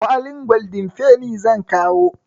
Kwalin goldin feni zan kawo.